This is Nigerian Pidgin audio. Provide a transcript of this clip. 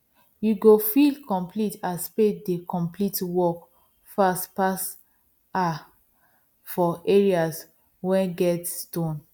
you go feel complete as spade dey complete work fast pass her for areas wen get stone